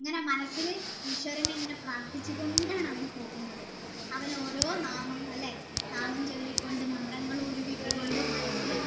ഇങ്ങനെ മനസ്സിൽ ഈശ്വരൻ ഇങ്ങനെ പ്രാർത്ഥിച്ചു കൊണ്ടാണ് അവൻ പോകുന്നത് അവൻ ഓരോ നാമങ്ങൾ അല്ലെ ച്വല്ലി കൊണ്ട് മന്ത്രങ്ങൾ ഉരുവിട്ട് കൊണ്ട് മനസ്സിൽ